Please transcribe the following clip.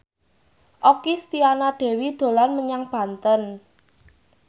Okky Setiana Dewi dolan menyang Banten